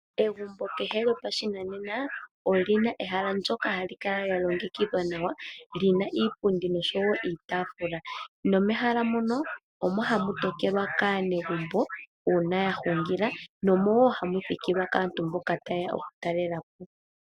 Egumbo kehe lyopashinanene olyina ehala ndyoka hali kala lya longekidhwa nawa lyina iipundi noshowo iitafula nomehala mono omo hamu tokelwa kaanegumbo uuna ya hungila nomowo hamu thikilwa kaantu mboka tayeya oku talelapo.